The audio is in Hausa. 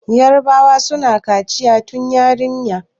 yarabawa suna kaciya tun yarinya